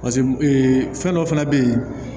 paseke ee fɛn dɔ fɛnɛ be yen